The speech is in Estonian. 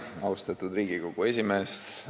Austatud Riigikogu esimees!